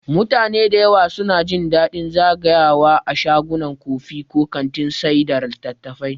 Mutane da yawa suna jin daɗin zagayawa a shagunan kofi ko kantin sayar da littattafai.